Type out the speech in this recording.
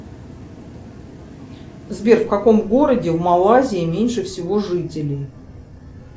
сбер в каком городе в малайзии меньше всего жителей